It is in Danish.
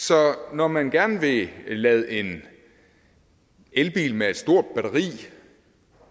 når man gerne vil lade en elbil med et stort batteri